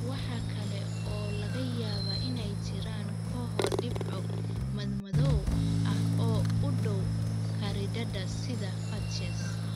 Waxa kale oo laga yaabaa inay jiraan kooxo dhibco madmadow ah oo u dhow khariidada sida patches.